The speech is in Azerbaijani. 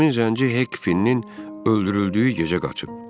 Həmin zənci Hekfinnin öldürüldüyü gecə qaçıb.